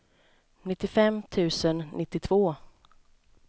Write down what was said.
nittiofem tusen nittiotvå